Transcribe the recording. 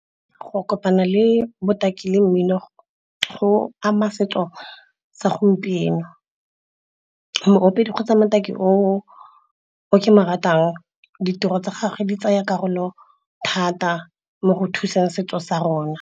Go kopana le botaki le mmino go ama setso sa gompieno. Mo opedi kgotsa motaki o ke mo ratang, ditiro tsa gagwe di tsaya karolo thata mo go thuseng setso sa rona.